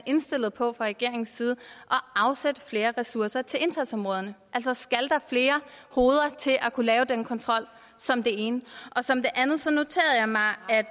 indstillet på fra regeringens side at afsætte flere ressourcer til indsatsområderne skal der flere hoveder til at kunne lave den kontrol som det ene som